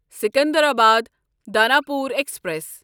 Secunderabad Danapur express